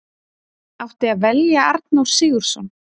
Átti að velja Arnór Sigurðsson?